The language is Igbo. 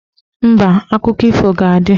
Mba, akụkọ ifo ga-adị